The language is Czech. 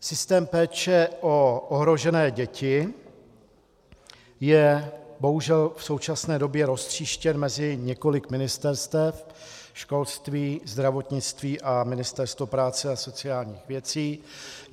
Systém péče o ohrožené děti je bohužel v současné době roztříštěn mezi několik ministerstev - školství, zdravotnictví a Ministerstvo práce a sociálních věcí.